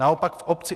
Naopak v obci